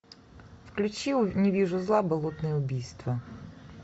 включи не вижу зла болотные убийства